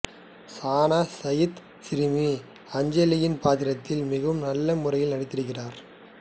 சானா சயீத் சிறுமி அஞ்சலியின் பாத்திரத்தில் மிகவும் நல்ல முறையில் நடித்திருக்கிறார்